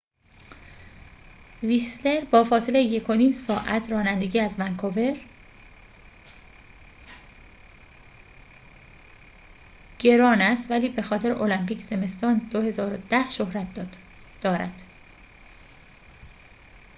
ویسلر با فاصله 1.5 ساعت رانندگی از ونکور گران است ولی بخاطر المپیک زمستان 2010 شهرت دارد